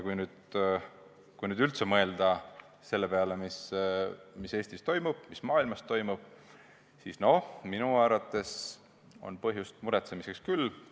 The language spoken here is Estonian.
Kui nüüd üldse mõelda selle peale, mis Eestis toimub, mis maailmas toimub, siis minu arvates on põhjust muretsemiseks küll.